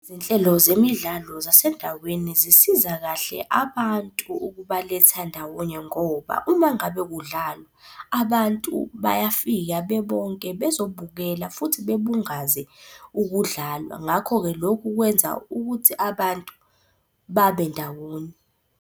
Izinhlelo zemidlalo zasendaweni zisiza kahle abantu ukubaletha ndawonye ngoba, uma ngabe kudlalwa abantu bayafika bebonke bezobukela futhi bebungaze ukudlala. Ngakho-ke, lokhu kwenza ukuthi abantu babe ndawonye.